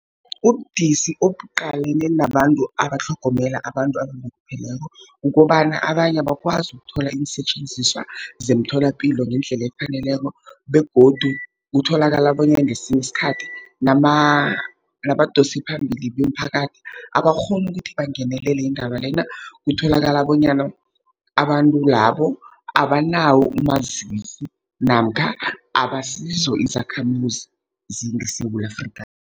Ubudisi obuqalene nabantu abatlhogomela abantu abalupheleko, kukobana abanye abakwazi ukuthola iinsetjenziswa zemtholapilo ngendlela efaneleko, begodu kutholakala bonyana ngesinye isikhathi nabadosiphambili bemiphakathi abakghoni ukuthi bangenele indaba lena. Kutholakala bonyana abantu labo abanawo umazisi, namkha abasizo izakhamuzi zeSewula Afrika.